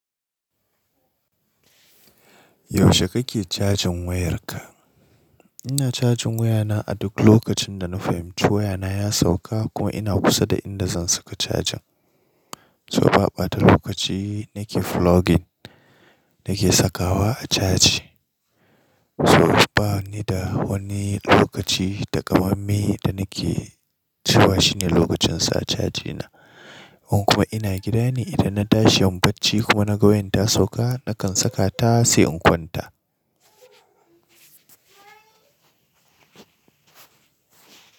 Yaushe kake cajin wayarka? Ina cajin wayana a duk lokacin da na fahimci wayana ya sauka kuma ina kusa da inda zan saka cajin. So ba ɓata lokaci nake floggin, nake sakawa a caji. So bani da wani lokaci takamamme da nake cewa shine lokacin sa cajina. In kuma ina gida ne, idan na tashi yin bacci kuma na ga wayan ta sauka, nakan saka ta sai in kwanta.